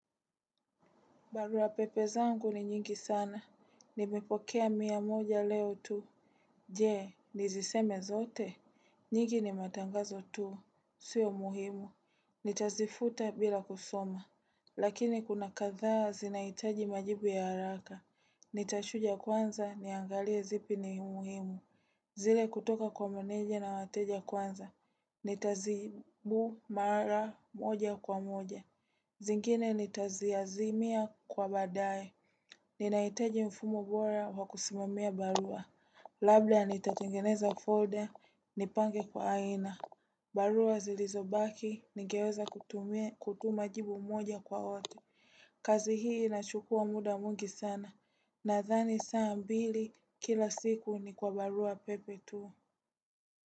Barua pepe zangu ni nyingi sana. Nimepokea mia moja leo tu. Je, niziseme zote. Nyingi ni matangazo tu. Sio muhimu. Nitazifuta bila kusoma. Lakini kuna kadhaa zinahitaji majibu ya haraka. Nitachuja kwanza niangalie zipi ni muhimu. Zile kutoka kwa meneje na wateja kwanza. Nitajibu mara moja kwa moja. Zingine nitazi azimia kwa baadae. Nina hitaji mfumo bora wakusimamia barua. Labda nitatengeneza folder, nipange kwa aina. Barua zilizobaki, ningeweza kutuma jibu moja kwa wote. Kazi hii inachukua muda mwingi sana. Nadhani saa mbili kila siku ni kwa barua pepe tu.